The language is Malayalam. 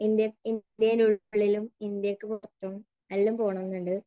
ഇന്ത്യയ്ക്കുള്ളിലും ഇന്ത്യക്ക് പുറത്തും എല്ലാം പോണമെന്നുണ്ട്.